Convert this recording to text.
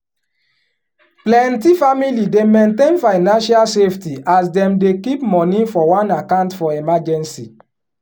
plenty family dey maintain financial safety as dem dey keep money for one account for emergency.